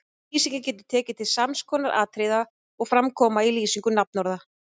Lýsingin getur tekið til sams konar atriða og fram koma í lýsingu nafnorða